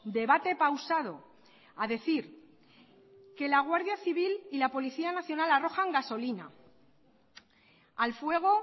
debate pausado a decir que la guardia civil y la policía nacional arrojan gasolina al fuego